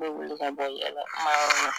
N be wuli ka bɔ yɛlɛkuma yɔrɔ la